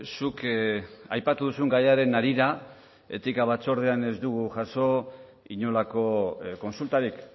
zuk aipatu duzun gaiaren harira etika batzordean ez dugu jaso inolako kontsultarik